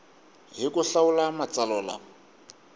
hi ku hlawula matsalwa lama